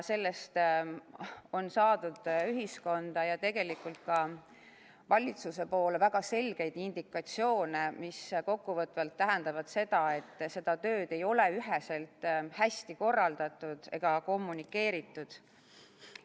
Sellest on saadud ühiskonda ja tegelikult ka valitsuse poole väga selgeid indikatsioone, mis kokkuvõtvalt tähendavad seda, et seda tööd ei ole üheselt hästi korraldatud ega kommunikeeritud.